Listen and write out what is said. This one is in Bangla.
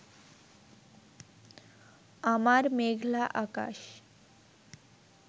আমার মেঘলা আকাশ